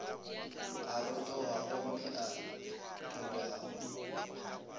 a rotoga gomme a tonyago